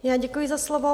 Já děkuji za slovo.